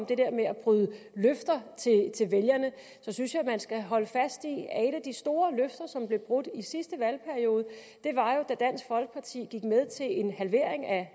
det der med at bryde løfter til vælgerne synes jeg at man jo skal holde fast i at et af de store løfter som blev brudt i sidste valgperiode var da dansk folkeparti gik med til en halvering af